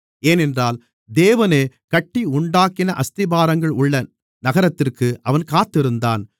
ஏனென்றால் தேவனே கட்டி உண்டாக்கின அஸ்திபாரங்கள் உள்ள நகரத்திற்கு அவன் காத்திருந்தான்